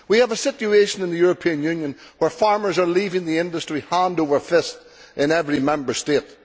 We have a situation in the European Union where farmers are leaving the industry hand over fist in every Member State.